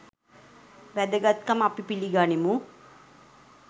වැදගත්කම අපි පිළිගනිමු.